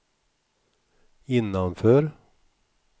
innanför